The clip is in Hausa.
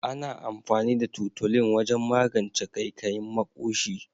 Ana amfani da tutolin wajen magance kaikayin maƙoshi.